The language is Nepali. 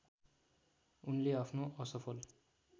उनले आफ्नो असफल